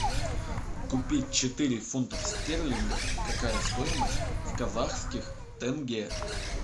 купить четыре фунтов стерлингов какая стоимость в казахских тенге